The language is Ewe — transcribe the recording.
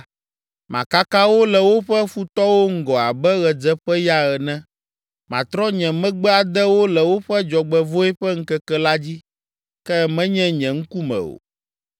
Makaka wo le woƒe futɔwo ŋgɔ abe ɣedzeƒeya ene. Matrɔ nye megbe ade wo le woƒe dzɔgbevɔ̃e ƒe ŋkeke la dzi, ke menye nye ŋkume o.”